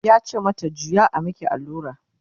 yace mata "juya a maki allura!"